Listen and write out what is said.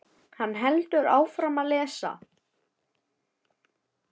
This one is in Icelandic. Hann heldur áfram að lesa: